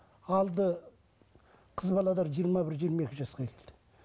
алды қыз жиырма бір жиырма екі жасқа келді